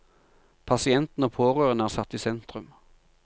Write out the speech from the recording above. Pasienten og pårørende er satt i sentrum.